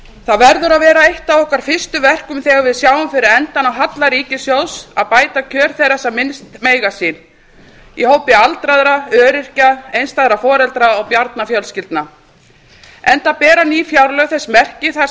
það verður að vera eitt af okkar fyrstu verkum þegar við sjáum fyrir endann á halla ríkissjóðs að bæta kjör þeirra sem minnst mega sín í hópi aldraðra öryrkja einstæðra foreldra og barnafjölskyldna enda bera ný fjárlög þess merki þar